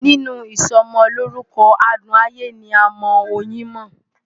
Nínú ìsọmọlórúkọ adùn ayé ni a mọ oyin mọ́.